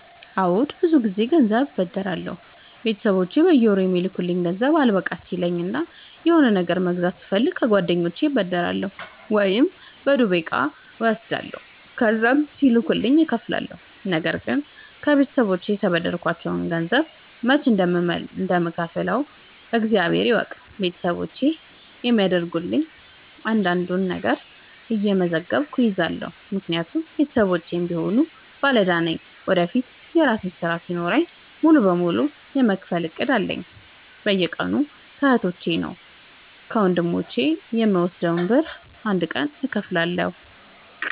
አዎድ ብዙ ግዜ ገንዘብ አበደራለሁ ቤተሰቦቼ በየወሩ የሚልኩልኝ ገንዘብ አልበቃሽ ሲለኝ እና የሆነ ነገር መግዛት ስፈልግ ከጓደኞቼ እበደራለሁ። ወይም በዱቤ እቃ እወስዳለሁ ከዛም ሲላክልኝ እከፍላለሁ። ነገርግን ከቤተሰቦቼ የተበደርከትን ገንዘብ መች እንደም ከውፍለው እግዜር ይወቅ ቤተሰቦቼ የሚያደርጉልኝን እያንዳዷን ነገር እየመዘገብኩ እይዛለሁ። ምክንያቱም ቤተሰቦቼም ቢሆኑ ባለዳ ነኝ ወደፊት የራሴ ስራ ሲኖረኝ ሙሉ በሙሉ የመክፈል እቅድ አለኝ። በየቀኑ ከህቶቼ እና ከወንድሞቼ የምወስደውን ብር አንድ ቀን እከፍላለሁ።